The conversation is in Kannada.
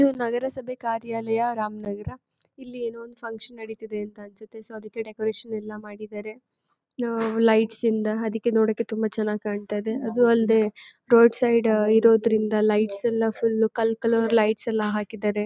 ನಗರಸಭೆ ಕಾರ್ಯಾಲಯ ರಾಮನಗರ. ಇಲ್ಲಿ ಏನೋ ಒಂದು ಫಾನ್ಕ್ಷನ್ ನಡಿತಿದಿ ಅಂತ ಅನ್ಸುತ್ತೆ. ಸೊ ಅದಕೆ ಡೆಕೋರೇಷನ್ ಎಲ್ಲ ಮಾಡಿದರೆ ಲೈಟ್ಸ್ ಇಂದ ಅದಿಕೆ ನೋಡೋಕೆ ತುಂಬಾ ಚನ್ನಾಗ್ ಕಾಣ್ತಾಯಿದೆ. ಅದು ಅಲ್ದೆ ರೋಡ್ ಸೈಡ್ ಇರೋದ್ರಿಂದ ಲೈಟ್ಸ್ ಎಲ್ಲ ಫುಲ್ ಕಲ್ ಕಲರ್ ಲೈಟ್ಸ್ ಎಲ್ಲ ಹಾಕಿದರೆ.